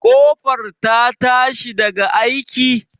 Ƙofar ta tashi daga aiki?